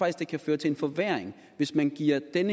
at det kan føre til en forværring hvis man giver den